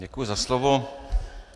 Děkuji za slovo.